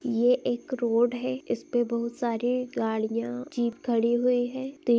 ये एक रोड है इस पे बहुत सारी गड़िया जीप खड़ी हुई है तो --